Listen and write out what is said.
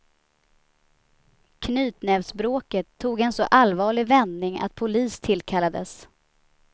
Knytnävsbråket tog en en så allvarlig vändning att polis tillkallades.